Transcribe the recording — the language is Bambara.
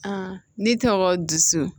ne tɔgɔ dusu